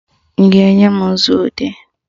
Ị ga-enye m nzuodee?